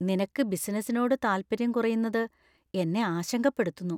നിനക്ക് ബിസിനസിനോട് താല്പര്യം കുറയുന്നത് എന്നെ ആശങ്കപ്പെടുത്തുന്നു.